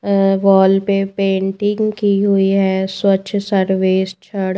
और वॉल पे पेंटिंग की हुई है स्वच्छ सर्वेसक्षण--